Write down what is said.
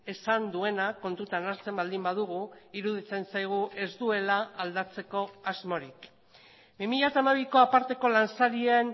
esan duena kontutan hartzen baldin badugu iruditzen zaigu ez duela aldatzeko asmorik bi mila hamabiko aparteko lansarien